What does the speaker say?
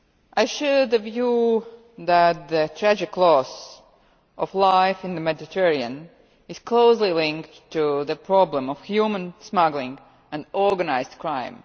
I share the view that the tragic loss of life in the Mediterranean is closely linked to the problem of human smuggling and organised crime.